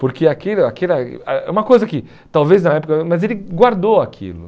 Porque aquilo aquilo... eh É uma coisa que talvez na época... Mas ele guardou aquilo.